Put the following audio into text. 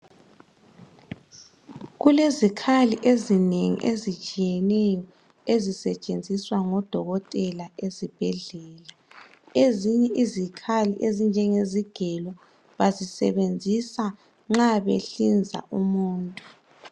Kulezikhali ezinengi ezitshiyeneyo ezisetshenziswa ngodokotela ezibhendlela ezinye izikhathi ezinjenge izigelo bazisebenzisa nxa behlinza umuntu.